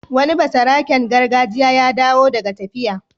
Wani basaraken gargajiya ya dawo daga tafiya.